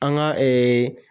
An ŋa